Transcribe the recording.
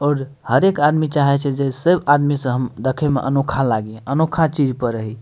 और हरेक आदमी चाहे छे जे सब आदमी से हम देखे में अनोखा लागी अनोखा चीज पर रही।